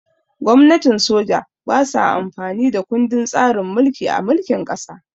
Gwamnatin soja ba sa amfani da kundin tsarin mulki a mulkin ƙasa